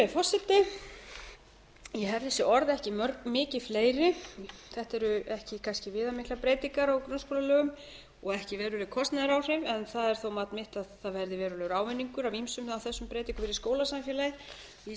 forseti ég hef þessi orð ekki mikið fleiri þetta eru ekki kannski viðamiklar breytingar á grunnskólalögum og ekki veruleg kostnaðaráhrif en það er þó mat mitt að það verði verulegur ávinningur af ýmsum af þessum breytingum fyrir skólasamfélagið vísa